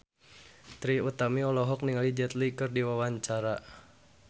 Trie Utami olohok ningali Jet Li keur diwawancara